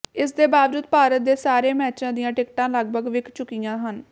ਇਸਦੇ ਬਾਵਜੂਦ ਭਾਰਤ ਦੇ ਸਾਰੇ ਮੈਚਾਂ ਦੀਆਂ ਟਿਕਟਾਂ ਲਗਭਗ ਵਿਕ ਚੁੱਕੀਆਂ ਹਨ